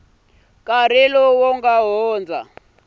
nkarhi lowu nga hundza lowu